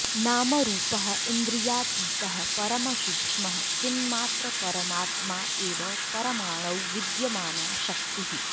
नामरूपः इन्द्रियातीतः परमसूक्ष्मः चिन्मात्रपरमात्मा एव परमाणौ विद्यमाना शक्तिः